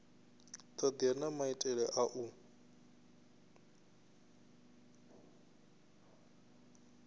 thodea na maitele a u